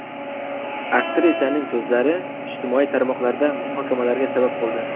Aktrisaning so‘zlari ijtimoiy tarmoqlarda muhokamalarga sabab bo‘ldi.